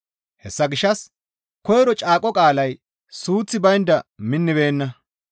Hessa gishshas koyro caaqo qaalay suuththi baynda minnibeenna.